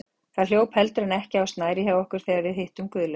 Það hljóp heldur en ekki á snærið hjá okkur þegar við hittum Guðlaug